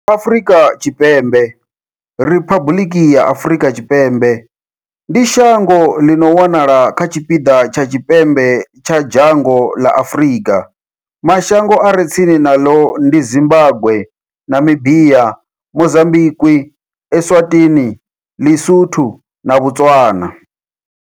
Afrika Tshipembe, Riphabuḽiki ya Afrika Tshipembe, ndi shango ḽi no wanala kha tshipiḓa tsha tshipembe tsha dzhango ḽa Afurika. Mashango a re tsini naḽo ndi Zimbagwe, Namibia, Mozambikwi, Eswatini, LiSotho na Botswana.